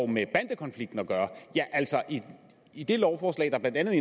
med bandekonflikten at gøre altså i i det lovforslag der blandt andet